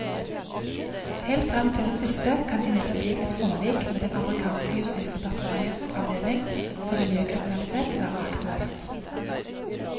Helt frem til det siste kan imidlertid et forlik med den amerikanske justisdepartementets avdeling for miljøkriminalitet være aktuelt.